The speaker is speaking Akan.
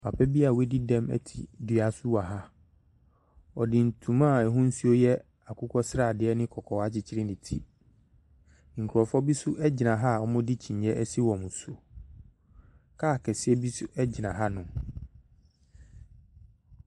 Papa bia wɔdi dem ɛte dua so wɔ ha ɔdi ntoma ahusuo yɛ akokɔ seradeɛ ne kɔkɔɔ akyekyerɛ ne tire nkrɔfoɔ bi nso gyina hɔ a ɔdi kyiniiɛ ɛsi wɔn so kaa kɛseɛ bi nso gyina ha nom.